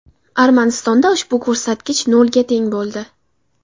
Armanistonda ushbu ko‘rsatkich nolga teng bo‘ldi.